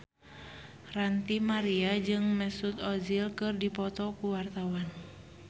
Ranty Maria jeung Mesut Ozil keur dipoto ku wartawan